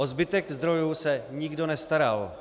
O zbytek zdrojů se nikdo nestaral.